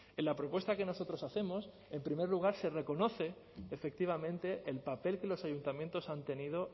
en la propuesta que nosotros hacemos en primer lugar se reconoce efectivamente el papel que los ayuntamientos han tenido